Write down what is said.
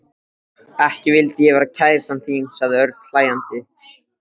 Ekki vildi ég vera kærastan þín sagði Örn hlæjandi.